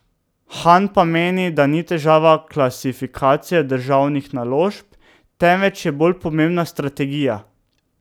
Han pa meni, da ni težava klasifikacija državnih naložb, temveč je bolj pomembna strategija.